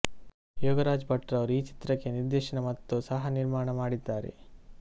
ಯೋಗರಾಜ್ ಭಟ್ ರವರು ಈ ಚಿತ್ರಕ್ಕೆ ನಿರ್ದೇಶನ ಮತ್ತು ಸಹ ನಿರ್ಮಾಣ ಮಾಡಿದ್ದಾರೆ